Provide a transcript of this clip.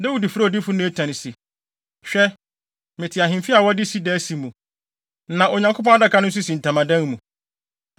Dawid frɛɛ odiyifo Natan se, “Hwɛ, mete ahemfi a wɔde sida asi mu, na Onyankopɔn Adaka no nso si ntamadan mu.”